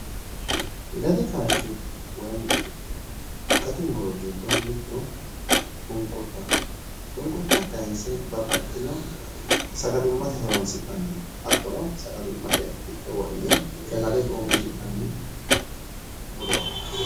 Gati kaashshi woy gati muro giddo mittu shunkurtaho, shunkurta kaayinse babbaxxitino sagalimmate horo'nsinanni hattono, sagalimmate giddo wo'dhine sagale coo'mishinanni murooti.